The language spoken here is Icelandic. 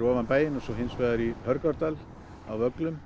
ofan bæinn og hins vegar í Hörgárdal á Vöglum